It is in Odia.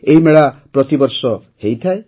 ଏହି ମେଳା ପ୍ରତିବର୍ଷ ହୋଇଥାଏ